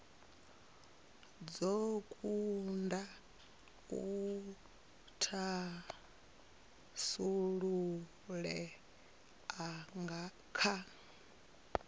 dzo kunda u thasululea kha